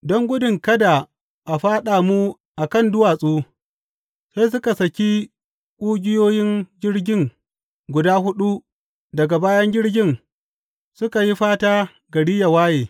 Don gudun kada a fyaɗa mu a kan duwatsu, sai suka saki ƙugiyoyin jirgin guda huɗu daga bayan jirgin suka yi fata gari ya waye.